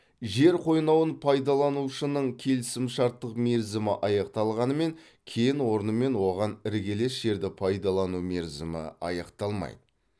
жер қойнауын пайдаланушының келісімшарттық мерзімі аяқталғанымен кен орны мен оған іргелес жерді пайдалану мерзімі аяқталмайды